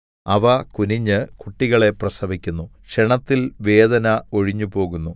അവ കുനിഞ്ഞ് കുട്ടികളെ പ്രസവിക്കുന്നു ക്ഷണത്തിൽ വേദന ഒഴിഞ്ഞുപോകുന്നു